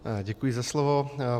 Děkuji za slovo.